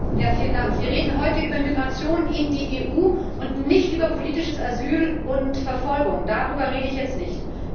Herr Präsident! Wir reden heute über Migration in die EU und nicht über politisches Asyl und Verfolgung. Darüber rede ich jetzt nicht.